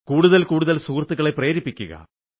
കൂടുതൽ കൂടുതൽ സുഹൃത്തുക്കളെയും പ്രേരിപ്പിക്കുക